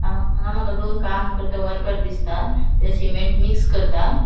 हा हांगा मका दोन काम करता वर्कर दिसता ते सिमेन्ट मिक्स करता.